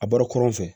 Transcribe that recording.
A bɔra kɔrɔn fɛ